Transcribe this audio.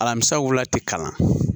Alamisa wula tɛ kalan